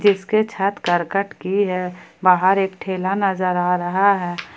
इसपे छत करकट की है बाहर एक ठेला नजर आ रहा है।